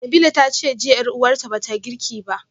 Nabilah tace jiya yar uwarta bata girki ba